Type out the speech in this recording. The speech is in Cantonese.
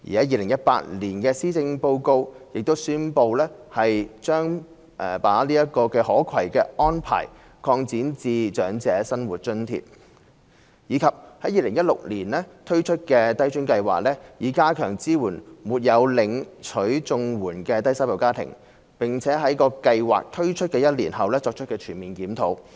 2018年的施政報告亦宣布將這"可攜"安排擴展至長者生活津貼；及 c 在2016年推出低津計劃，以加強支援沒有領取綜援的低收入家庭，並在計劃推出一年後作全面檢討。